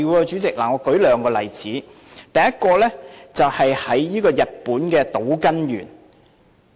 主席，我舉兩個例子，第一個是日本島根縣。